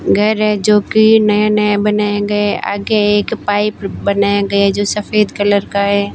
घर है जो कि नए नए बनाए गए आगे एक पाइप बनाया गया जो सफेद कलर का है।